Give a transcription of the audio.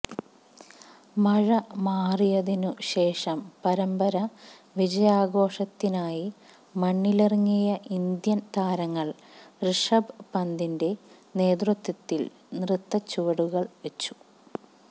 മഴ മാറിയതിനു ശേഷം പരമ്പര വിജയാഘോഷത്തിനായി മണ്ണിലിറങ്ങിയ ഇന്ത്യൻ താരങ്ങൾ ഋഷഭ് പന്തിന്റെ നേതൃത്വത്തിൽ നൃത്തച്ചുവടുകൾ വച്ചു